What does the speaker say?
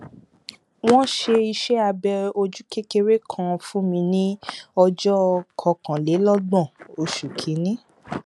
wọn ṣe iṣẹ abẹ ojú kékeré kan fún mi ní ọjọ kọkànlélọgbọn oṣù kìíní